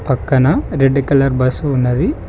పక్కన red colour bus ఉన్నది.